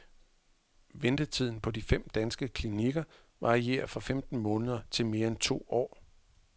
Ventetiden på de fem danske klinikker varierer fra femten måneder til mere end to år.